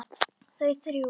Þau þrjú.